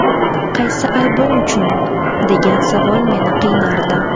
Qaysi aybim uchun, degan savol meni qiynardi.